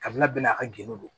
Kabila bɛɛ n'a ka gende don